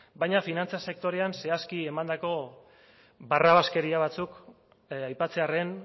baina finantza sektorean zehazki emandako barrabaskeria batzuk aipatzearren